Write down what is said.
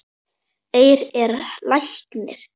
Eir er læknir